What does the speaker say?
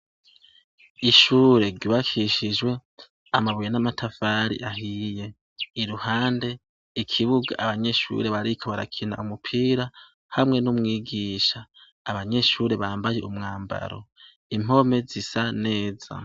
Ishure ryubakishijwe amabuye n’amatafari ahiye. Iruhande ikibuga abanyeshure bariko barakina umupira hamwe n’umwigisha. Abanyeshure bambaye umwambaro, impome zisa neza.